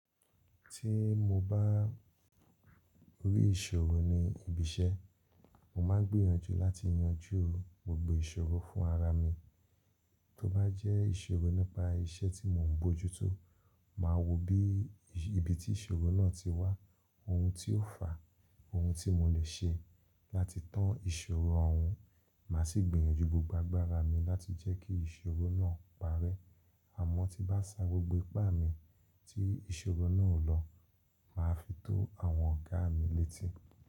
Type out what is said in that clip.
Tí mo bá rí ìṣòro ní ibi iṣẹ́, mo máa n gbìyànjú láti yanjú gbogbo ìṣòro fún ara mi. Tí ó bá jẹ́ ìṣòro nípa iṣẹ́ tí mò ń bójú tó, màá wo bí ibi tí ìṣòro náà ti wá, ohun tí ó fà á, ohun tí mo lè ṣe láti tán ìṣòro òhun. Màá sì gbìyànjú gbogbo agbára mi láti jẹ́ kí ìṣòro náà parẹ́. Àmọ́ tí bá sa gbogbo ipá mi tí ìṣòro náà ò lọ, màá fi tó àwọn ọ̀gá mi létí.